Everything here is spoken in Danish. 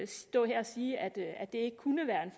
stå her og sige at det ikke kunne være en